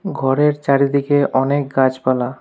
ঘরের চারিদিকে অনেক গাছপালা।